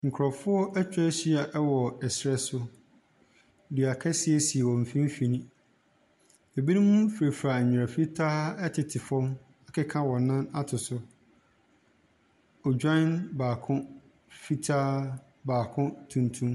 Nkorɔfoɔ etwa ehyia ɛwɔ ɛsrɛ so, dua kɛseɛ si wɔn fimfini. Ebinom frefra anwia fitaa ɛtete fɔm akeka wɔn nan ato so. Ɔdwan baako, fitaa, baako tuntum.